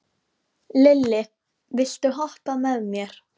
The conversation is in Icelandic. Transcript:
Lilli, viltu hoppa með mér?